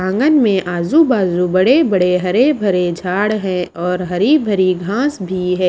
आंगन में आजु - बाजू बड़े-बड़े हरे भरे झाड़ है और हरी भरी घास भी है।